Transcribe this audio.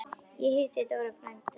Ég hitti Dóra frænda þinn.